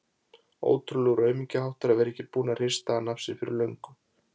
Ótrúlegur aumingjaháttur að vera ekki búinn að hrista hana af sér fyrir löngu.